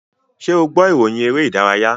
Ṣé o gbọ́ ìròyìn eré-ìdárayá?